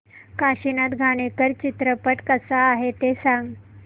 काशीनाथ घाणेकर चित्रपट कसा आहे ते सांग